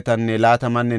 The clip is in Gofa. Besaya yarati 324;